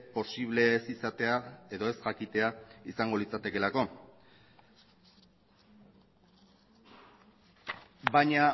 posible ez izatea edo ez jakitea izango litzatekeelako baina